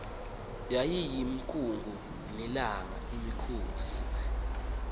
yayiyinkungu nelanga imikhosi